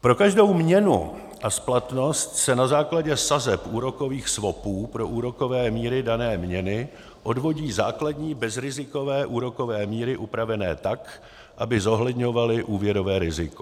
Pro každou měnu a splatnost se na základě sazeb úrokových swapů pro úrokové míry dané měny odvodí základní bezrizikové úrokové míry upravené tak, aby zohledňovaly úrokové riziko.